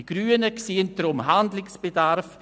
Die Grünen sehen deshalb Handlungsbedarf.